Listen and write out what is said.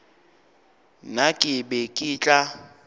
nna ke be ke tla